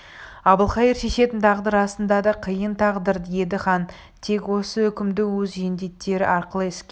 әбілқайыр шешетін тағдыр расында да қиын тағдыр еді хан тек осы үкімді өз жендеттері арқылы іске